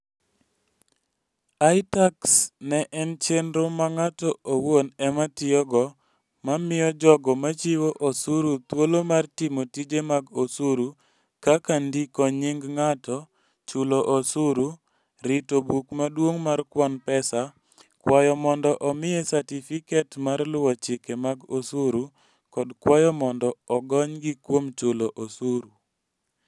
ITax en chenro ma ng'ato owuon ema tiyogo ma miyo jogo machiwo osuru thuolo mar timo tije mag osuru kaka ndiko nying' ng'ato, chulo osuru, rito buk maduong' mar kwan pesa, kwayo mondo omiye satifiket mar luwo chike mag osuru, kod kwayo mondo ogonygi kuom chulo osuru.